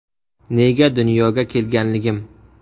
Nega dunyoga kelganligim.